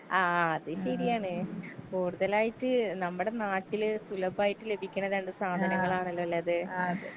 ആ അത് ശെരിയാണ് കൂടുതലായിട്ട് നമ്മടെ നാട്ടില് സുലഭായിട്ട് ലഭിക്ക്ണ രണ്ട് സാധനങ്ങളാണല്ലല്ലോ അത്.